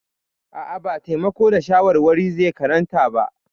A'a, ba taimako da shawarwari zai karanta ba.